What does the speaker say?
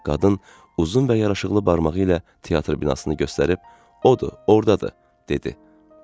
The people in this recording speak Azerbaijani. Qadın uzun və yaraşıqlı barmağı ilə teatr binasını göstərib, odur, ordadır, dedi.